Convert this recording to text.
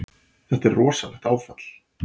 Þetta er rosalegt áfall.